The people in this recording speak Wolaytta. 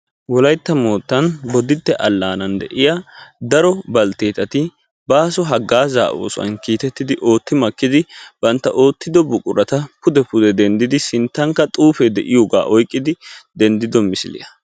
wolaytta moottan bodditte allanan daro baltteetati baaso haggaazza oosuwaa kiitettidi ootti makkidi bantta oottido buqurata pude pude denttidi sinttankk xuufe de'iyooga oyqqidi denddido misiliyaa.